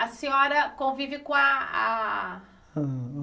A senhora convive com a a...?